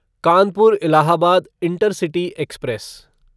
Kanpur Allahabad intercity express